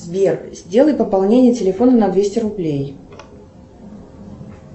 сбер сделай пополнение телефона на двести рублей